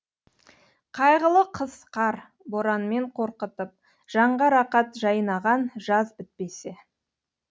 қайғылы қыс қар боранмен қорқытып жанға рақат жайнаған жаз бітпесе